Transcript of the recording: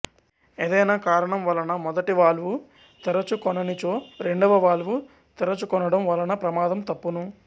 ఏదైనకారణం వలన మొదటి వాల్వు తెరచు కొననిచో రెండవ వాల్వు తెరచు కొనడం వలన ప్రమాదం తప్పును